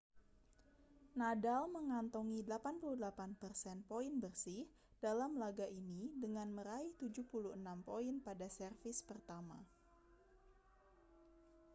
nadal mengantongi 88% poin bersih dalam laga ini dengan meraih 76 poin pada servis pertama